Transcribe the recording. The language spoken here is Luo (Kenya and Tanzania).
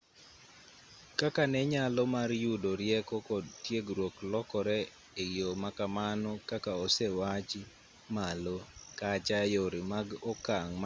kaka ne nyalo mar yudo rieko kod tiegruok lokore e yo ma kamano kaka osewachi malo kacha yore mag okang' mane iyudogo rieko nolokore